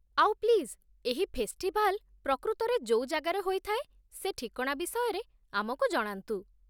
ଆଉ, ପ୍ଲିଜ୍, ଏହି ଫେଷ୍ଟିଭାଲ୍ ପ୍ରକୃତରେ ଯୋଉ ଜାଗାରେ ହୋଇଥାଏ ସେ ଠିକଣା ବିଷୟରେ ଆମକୁ ଜଣାନ୍ତୁ ।